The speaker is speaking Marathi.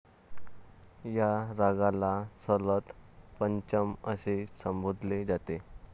या रागाला ललत पंचम असे संबोधले जाते.